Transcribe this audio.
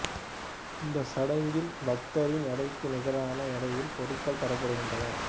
இந்த சடங்கில் பக்தரின் எடைக்கு நிகரான எடையில் பொருட்கள் தரப்படுகின்றன